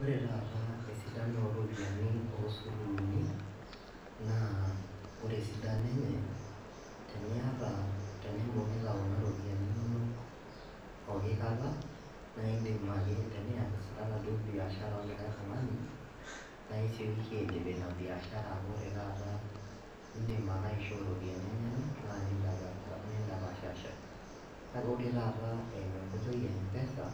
Ore taata esidano oropiyiani osururuni naa ore esidano enye teniyata tenimbung'ita kuna ropiyiani inonok poki kata naindim ake teniyasitata duo biashara olikae tung'ani naa isiokiki aidip ina biashara amu ore taata indim ake aishoo iropiyiani enyenak naa nindapashasha kake ore taata eimu enkoitoi e mpesa